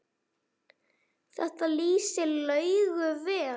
Þetta lýsir Laugu vel.